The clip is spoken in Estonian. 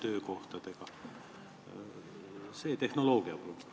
Mind huvitab see tehnoloogiapool.